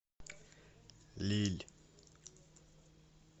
лилль